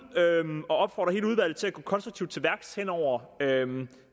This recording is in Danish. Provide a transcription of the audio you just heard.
og opfordre hele udvalget til at gå konstruktivt til værks hen over